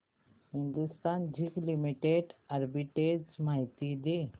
Hindustan zinc limited arbitrage माहिती दे